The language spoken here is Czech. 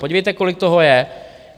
Podívejte, kolik toho je!